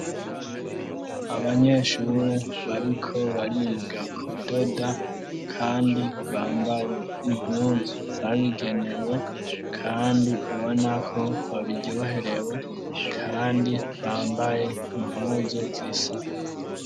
Abanyeshure, bariko bariga kudoda, kandi bambaye impuzu zabigenewe; kandi ubona ko babiryoherewe, kandi bambaye impuzu zisa n'uburu.